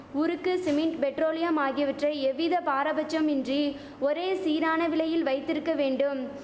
உருக்கு cement petroleum ஆகியவற்றை எவ்வித பாராபட்சமின்றி ஒரே சீரான விலையில் வைத்திருக்க வேண்டும்